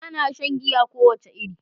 Bana shan giya kowace iri.